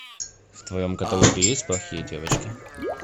в твоем каталоге есть плохие девочки